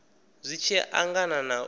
zwi tshi angana na u